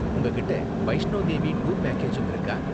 உங்ககிட்ட வைஷ்ணோ தேவி டூர் பேக்கேஜும் இருக்கா?